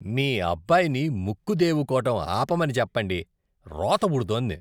మీ అబ్బాయిని ముక్కు దేవుకోవటం ఆపమని చెప్పండి. రోత పుడుతోంది.